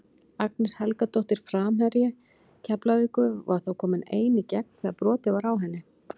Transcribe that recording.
Agnes Helgadóttir framherji Keflavíkur var þá komin ein í gegn þegar brotið var á henni.